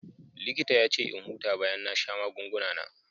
Likita ya ce in huta bayan na sha magunguna na.